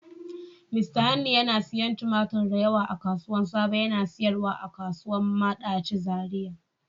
Mista Hanni yana siyan tumatur da yawa a kasuwan sabo, yana sayarwa a kasuwan Madachi Zariya.